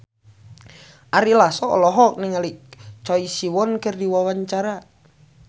Ari Lasso olohok ningali Choi Siwon keur diwawancara